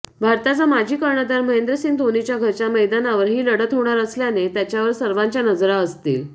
भारताचा माजी कर्णधार महेंद्रसिंह धोनीच्या घरच्या मैदानावर ही लढत होणार असल्याने त्याच्यावर सर्वांच्या नजरा असतील